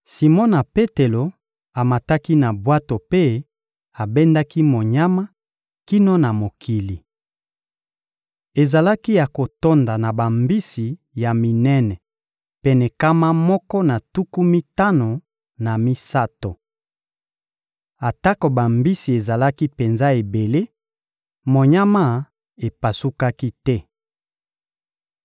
Simona Petelo amataki na bwato mpe abendaki monyama kino na mokili. Ezalaki ya kotonda na bambisi ya minene pene nkama moko na tuku mitano na misato. Atako bambisi ezalaki penza ebele, monyama epasukaki te.